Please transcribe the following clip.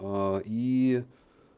аа и